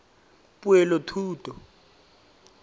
poelothuto